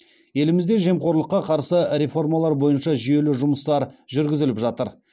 елімізде жемқорлыққа қарсы реформалар бойынша жүйелі жұмыстар жүргізіліп жатыр